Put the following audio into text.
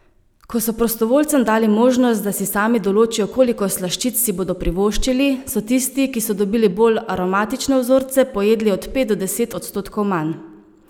Ko so prostovoljcem dali možnost, da si sami določijo, koliko slaščic si bodo privoščili, so tisti, ki so dobili bolj aromatične vzorce, pojedli od pet do deset odstotkov manj.